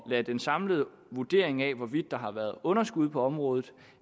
lade den samlede vurdering af hvorvidt der har været underskud på området